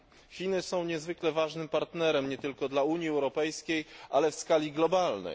Chiny są niezwykle ważnym partnerem, nie tylko dla Unii Europejskiej, ale w skali globalnej.